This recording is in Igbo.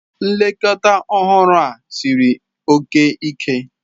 Nlekọta ọhụrụ a siri oke ike.